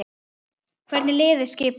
Hvernig er liðið skipað?